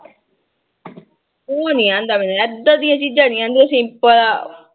ਉਹ ਨੀ ਆਉਂਦਾ ਮੈਨੂੰ ਏਦਾਂ ਦੀਆਂ ਚੀਜ਼ਾਂ ਨੀ ਆਉਂਦੀਆਂ simple